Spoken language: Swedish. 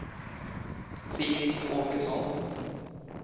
Filip Åkesson